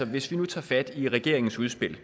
hvis vi nu tager fat i regeringens udspil